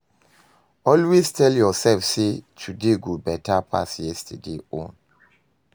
Always tel urself sey today go dey beta pass yestaday own